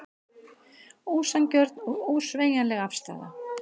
Ósanngjörn og ósveigjanleg afstaða